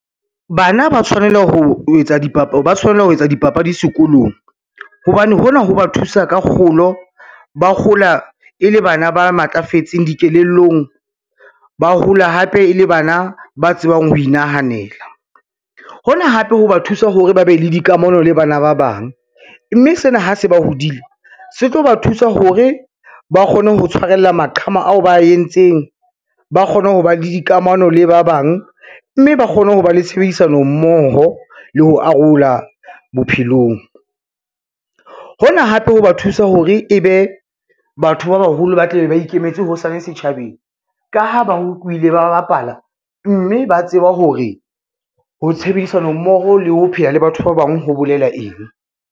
Bana ba tshwanela ho etsa dipapadi sekolong hobane hona ho ba thusa ka kgolo. Ba hola e le bana ba matlafetseng dikelellong, ba hola hape e le bana ba tsebang ho inahanela. Hona hape ho ba thusa hore ba be le dikamano le bana ba bang, mme sena ha se ba hodile se tlo ba thusa hore ba kgone ho tshwarella maqhama ao ba a entseng, ba kgone ho ba le dikamano le ba bang, mme ba kgone ho ba le tshebedisano mmoho le ho arola bophelong. Hona hape ho ba thusa hore ebe batho ba baholo ba tla be ba ikemetse hosane setjhabeng, ka ha ba ba bapala, mme ba tseba hore ho tshebedisano mmoho le ho pheha le batho ba bang ho bolela eng.